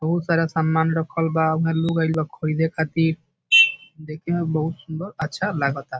बहुत सारा सामान रखल बा ऊहा लोग आइल बा खरीदे खातिर देखे मे बहुत सुन्दर अच्छा लगाता।